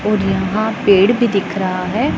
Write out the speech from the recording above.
और यहां पेड़ भी दिख रहा है।